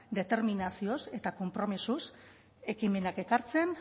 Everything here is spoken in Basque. determinazioz eta konpromezuz ekimenak ekartzen